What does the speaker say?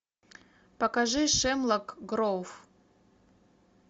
покажи хемлок гроув